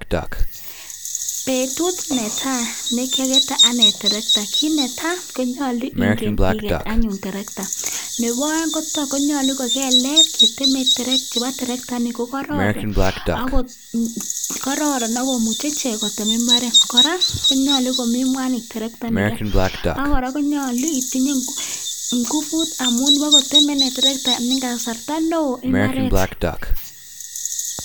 Betut ne tai nekiakete anyun torokta, kit netai konyolu ingen anyun iket torokta nebo aeng konyolu ko kelek chebo torokta ini ko kororon ak komuchi ichek kotem imbaret kora konyolu komi mwanik torotainiken ak kora konyolu itinyei inguvut amu pakotemei toroktaini imbaret eng kasarta neo.